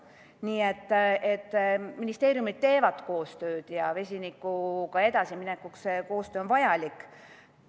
Nii et ministeeriumid teevad koostööd ning vesiniku teemaga edasiminekuks on see koostöö vajalik.